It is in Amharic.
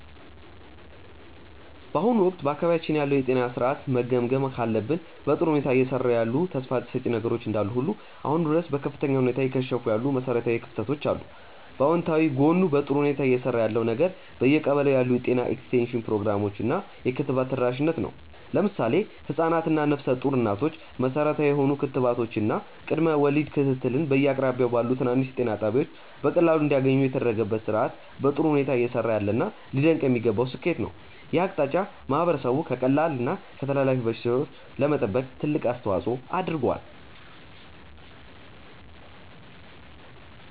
በአሁኑ ወቅት በአካባቢያችን ያለውን የጤና ሥርዓት መገምገም ካለብን፣ በጥሩ ሁኔታ እየሰሩ ያሉ ተስፋ ሰጪ ነገሮች እንዳሉ ሁሉ አሁንም ድረስ በከፍተኛ ሁኔታ እየከሸፉ ያሉ መሠረታዊ ክፍተቶች አሉ። በአዎንታዊ ጎኑ በጥሩ ሁኔታ እየሰራ ያለው ነገር በየቀበሌው ያሉ የጤና ኤክስቴንሽን ፕሮግራሞች እና የክትባት ተደራሽነት ነው። ለምሳሌ ህፃናት እና ነፍሰ ጡር እናቶች መሠረታዊ የሆኑ ክትባቶችን እና የቅድመ ወሊድ ክትትልን በየአቅራቢያቸው ባሉ ትናንሽ ጤና ጣቢያዎች በቀላሉ እንዲያገኙ የተደረገበት ሥርዓት በጥሩ ሁኔታ እየሰራ ያለና ሊደነቅ የሚገባው ስኬት ነው። ይህ አቅጣጫ ማህበረሰቡን ከቀላል እና ከተላላፊ በሽታዎች ለመጠበቅ ትልቅ አስተዋፅዖ አድርጓል።